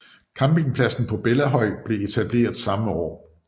Campingpladsen på Bellahøj blev etableret samme år